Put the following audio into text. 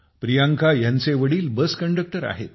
प्रियांका ह्यांचे वडील bus conductor आहेत